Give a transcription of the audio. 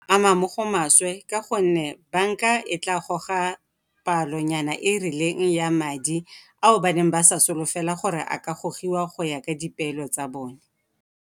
Ama mo go maswe ka gonne banka e tla goga palo nyana e e rileng ya madi ao ba neng ba sa solofela gore a ka gogiwa go ya ka dipeelo tsa bone.